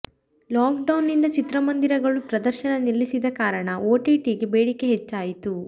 lock down ನಿಂದ ಚಿತ್ರಮಂದಿರಗಳು ಪ್ರದರ್ಶನ ನಿಲ್ಲಿಸಿದ ಕಾರಣ ಒಟಿಟಿಗೆ ಬೇಡಿಕೆ ಹೆಚ್ಚಾಯಿತು